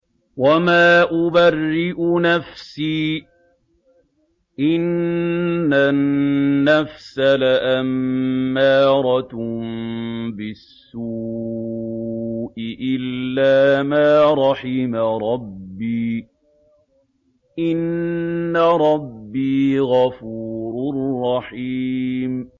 ۞ وَمَا أُبَرِّئُ نَفْسِي ۚ إِنَّ النَّفْسَ لَأَمَّارَةٌ بِالسُّوءِ إِلَّا مَا رَحِمَ رَبِّي ۚ إِنَّ رَبِّي غَفُورٌ رَّحِيمٌ